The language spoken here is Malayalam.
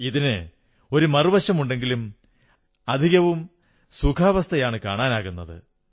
ഇതിന് ഒരു മറുവശമുണ്ടെങ്കിലും അധികവും സുഖാവസ്ഥയാണ് കാണാനാകുന്നത്